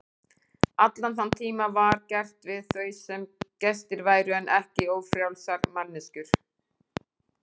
Allan þann tíma var gert við þau sem gestir væru en ekki ófrjálsar manneskjur.